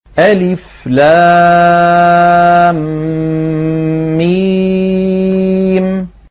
الم